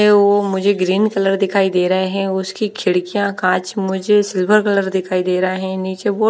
वो मुझे green colour दिखाई दे रहे हैं उसकी खिड़कियां कांच मुझे सिल्वर कलर दिखाई दे रहे हैं नीचे बोहोत--